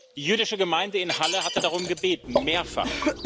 Die jüdische Gemeinde in Halle hatte darum gebeten mehrfach.